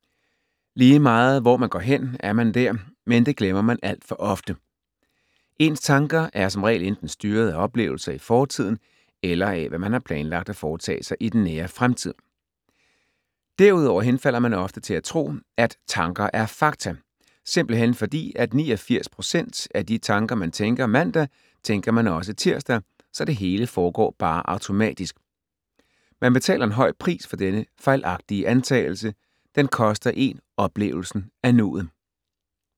Lige meget hvor man går hen, er man der, men det glemmer man alt for ofte. Ens tanker er som regel enten styret af oplevelser i fortiden, eller af hvad man har planlagt at foretage sig i den nære fremtid. Derudover henfalder man ofte til at tro, at tanker er fakta, simpelthen fordi at 89 % af de tanker man tænker mandag, tænker man også tirsdag, så det hele foregår bare automatisk. Man betaler en høj pris for denne fejlagtige antagelse, den koster én oplevelsen af nuet.